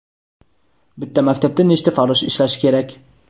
Bitta maktabda nechta farrosh ishlashi kerak?.